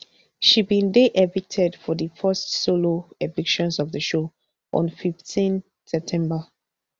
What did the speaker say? she bin dey evicted for di first solo evictions of di show on fifteen september